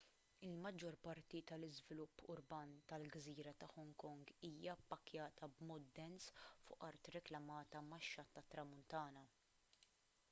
il-maġġor parti tal-iżvilupp urban tal-gżira ta' hong kong hija ppakkjata b'mod dens fuq art reklamata max-xatt tat-tramuntana